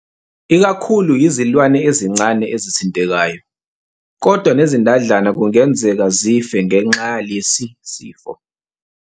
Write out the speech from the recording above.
Ikakhulu yizilwane ezisencane ezithintekayo, kodwa nezindadlana kungenzeka zife ngenxa yalesi sifo.